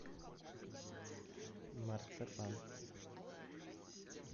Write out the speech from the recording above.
марципан